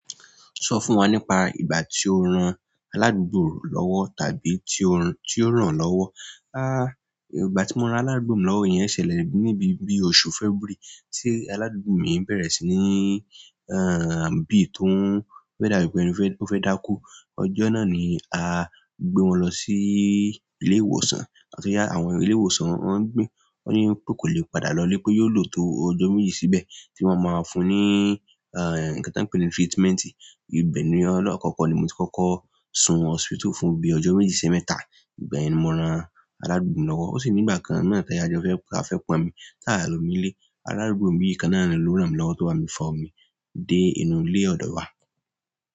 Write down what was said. Sọ fún wa nípa ìgbà tí o ran aládùúgbò lọ́wọ́ tàbí tí ó, tí ó ràn lọ́wọ́. Ah. Há! Ìgbà tí mo ra aládùúgbò mi lọ́wọ́ yẹn ṣẹlẹ̀ níbi bí oṣù February tí aládùúgbò mi bẹ̀rẹ̀ sí ní ehn bìi tó ń fẹ́ dàbí pé ó fẹ́ dákú. Ọjọ́ náà ni a gbé wọn lọ sí ilé ìwòsàn gbàtóyá àwọn ilé ìwòsàn wọ́n gbì, wọ́n yín pé kò lè padà lọ lé pé yóò lò tó ọjọ́ méjì síbẹ̀ tí wọ́n máa fún ní ehn nǹkan tí wọ́n ń pè ní treatment. Ìbẹ̀ ni ọlọ́kọ̀ọ̀kan ni mo ti kọ́kọ́ sun hospital fún bí i ọjọ́ méjì sí mẹ́ta. Ìgbà yẹn ni mo ran aládùúgbò mi lọ́wọ́. Ó sì ní ìgbà kan náà tí ayajo fẹ́, ka fẹ́ kó mi tí a lò mi ní ilé. Aládùúgbò mi kan náà ló rán mi lọ́wọ́ tó bá mi fa omi dé inú ilé ọ̀dọ̀ wa.